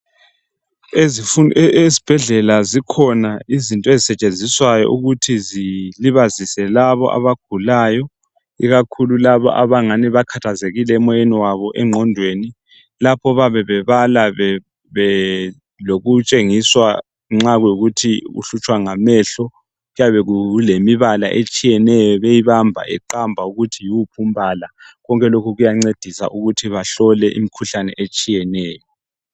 Ezibhedlela zikhona izinto ezisetshenziswayo ukuthi zilibazise labo abagulayo ikakhulu labo abangani bakhathazekile emoyeni wabo engqondweni lapho bayabe bebala bayabe lokutshengiswa nxa kuyikuthi uhlutshwa ngamehlo Kuyabe kukemibala etshiyeneyo beyibamba beqamba ukuthi yiwuphi umbala konke lokhu kuya ncedisa ukuthi bamhlole imikhuhlane etshiyeneyo